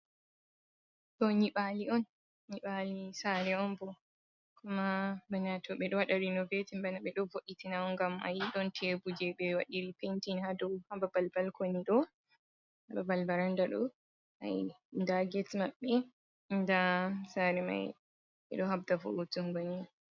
To nyibali on, nyibali sare on bo koma bana to ɓe ɗo wada renovetin bana ɓe ɗo vo’itinaon ngam ayi don tebur je ɓe wadiri pentin hado hababal balkoni do hababal baranda ɗo ai nda get maɓɓe nda sare mai ɓeɗo habda vo'utungo ni.